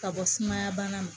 Ka bɔ sumaya bana ma